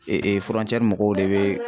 mɔgɔw de bɛ